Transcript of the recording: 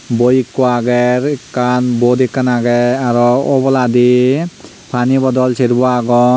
boie eko aagay ekan bote ekan aagay arow oboladi pani bodol sarebow aagon.